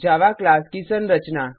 जावा class की संरचना